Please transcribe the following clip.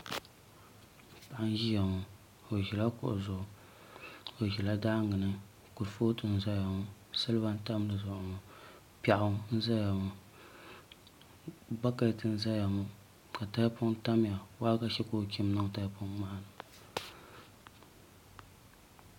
Paɣa n ʒiya ŋo o ʒila kuɣu zuɣu o ʒila daangi ni kurifooti n ʒɛya ŋo silba n tam di zuɣu ŋo piɛɣu n ʒɛya ŋo bakɛt n ʒɛya ŋo ka tahapoŋ tamya waagashe ka o chim niŋ taha poŋ maa ni